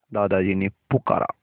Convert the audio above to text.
दादाजी ने पुकारा